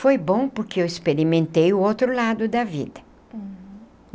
Foi bom porque eu experimentei o outro lado da vida. Uhum.